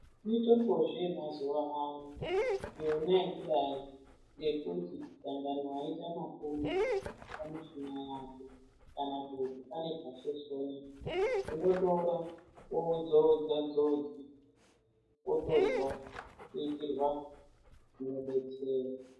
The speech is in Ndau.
Mitombo zve ye mazuva ano yona yekudai ngekuti dangani waita mapundu pa mushina yako kana kuti pane pa shoshonya uno tora wou dzodza dzodza wotozwa ku itirwa zvino detsera.